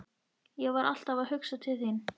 Ég var alltaf að hugsa til þín.